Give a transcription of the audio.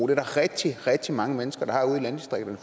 er der rigtig rigtig mange mennesker der har ude i landdistrikterne